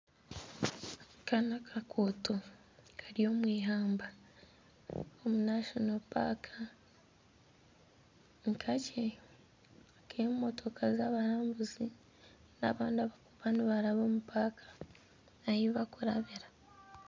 Aka n'akaguuto kari omwihamba. Omu irindiro ry'enyamaishwa. Nikakye ak'emotoka zabarambuzi n'abandi abarikuba nibaraba omu irindiro ry'enyamaishwa ahi barikuba.